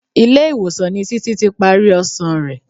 Ilé-ìwọ̀sàn ni Títí ti parí ọsàn rẹ.